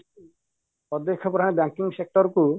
ପଦକ୍ଷେପ ଯାହା banking sector କୁ